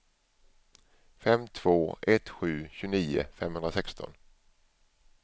fem två ett sju tjugonio femhundrasexton